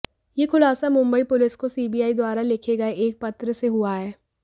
ये खुलासा मुंबई पुलिस को सीबीआई द्वारा लिखे गए एक पत्र से हुआ है